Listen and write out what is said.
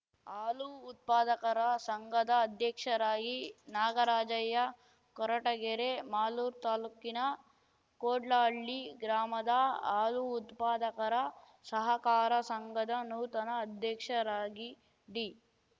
ಹಾಲು ಉತ್ಪಾದಕರ ಸಂಘದ ಅಧ್ಯಕ್ಷರಾಗಿ ನಾಗರಾಜಯ್ಯ ಕೊರಟಗೆರೆ ಮಾಲೂರು ತಾಲ್ಲೂಕಿನ ಕೋಡ್ಲಹಳ್ಳಿ ಗ್ರಾಮದ ಹಾಲು ಉತ್ಪಾದಕರ ಸಹಕಾರ ಸಂಘದ ನೂತನ ಅಧ್ಯಕ್ಷರಾಗಿ ಡಿ